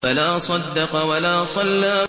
فَلَا صَدَّقَ وَلَا صَلَّىٰ